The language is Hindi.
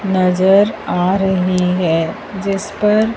नजर आ रही है जिस पर--